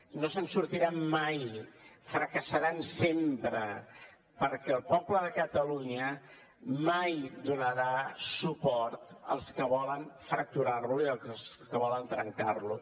no se’n sortiran mai fracassaran sempre perquè el poble de catalunya mai donarà suport als que volen fracturar lo i als que volen trencar lo